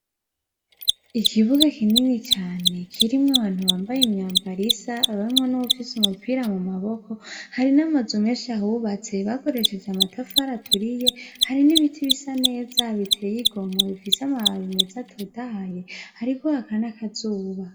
Ikibuga kinini cane kirimwo abantu bambaye imyambaro isa harimwo nuwufise umupira mumaboko harimwo namazu menshi ahubatse bakoresheje amatafari aturiye hari nibiti bisa neza biteye igomwe bifise amababi meza atotaye hariko haraka nakazuba